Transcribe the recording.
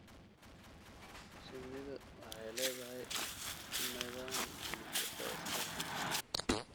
Shinnidu waxay leedahay nidaam bulsho oo iskaashi.